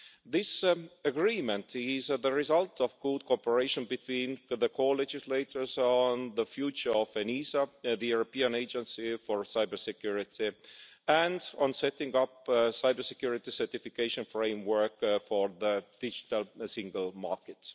This agreement is the result of good cooperation between the co legislators on the future of ENISA, the European Agency for Cybersecurity, and on setting up a cybersecurity certification framework for the digital single market.